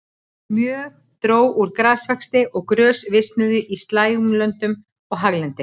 Mjög dró úr grasvexti og grös visnuðu á slægjulöndum og haglendi.